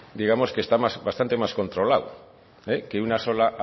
digamos que está bastante más contralado que una sola